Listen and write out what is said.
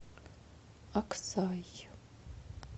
аксай